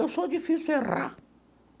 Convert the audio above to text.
Eu sou difícil errar.